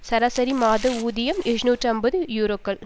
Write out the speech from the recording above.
சராசரி மாத ஊதியம் எழுநூற்று ஐம்பது யூரோக்கள்